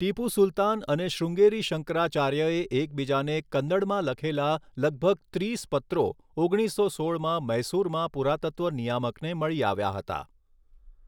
ટીપુ સુલતાન અને શૃંગેરી શંકરાચાર્યએ એકબીજાને કન્નડમાં લખેલા લગભગ ત્રીસ પત્રો ઓગણીસો સોળમાં મૈસુરમાં પુરાતત્વ નિયામકને મળી આવ્યા હતા.